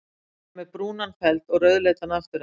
Þeir eru með brúnan feld og rauðleitan afturenda.